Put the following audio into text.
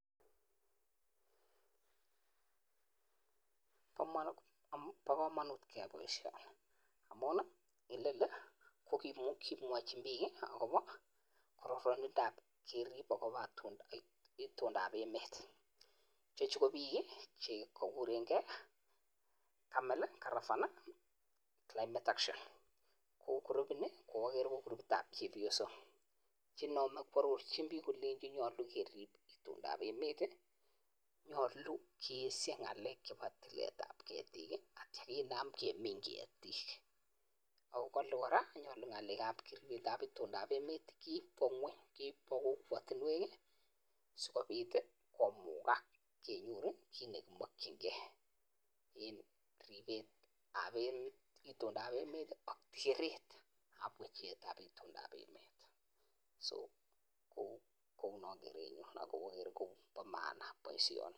Pa kamanut keyai baisioni, amun kimwochi piik ago Bo tuguk ap emet. Chechu ko piik cheko burenke kongalal en climate action. Krupini ko cheba chepyosok chego arorchin piik kole nyalu kerip tuguk ap emet.